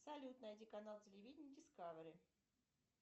салют найди канал телевидения дискавери